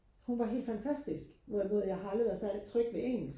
hun var helt fantastisk hvorimod jeg har aldrig været særlig tryg ved engelsk